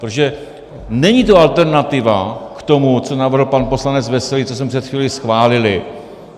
Protože není to alternativa k tomu, co navrhl pan poslanec Veselý, co jsme před chvílí schválili.